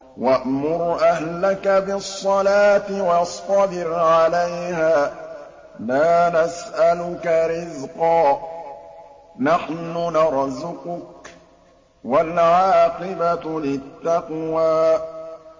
وَأْمُرْ أَهْلَكَ بِالصَّلَاةِ وَاصْطَبِرْ عَلَيْهَا ۖ لَا نَسْأَلُكَ رِزْقًا ۖ نَّحْنُ نَرْزُقُكَ ۗ وَالْعَاقِبَةُ لِلتَّقْوَىٰ